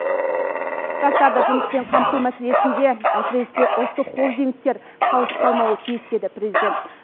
жастарды жұмыспен қамту мәселесінде әсіресе ұлттық холдингтер қалыс қалмауы тиіс деді президент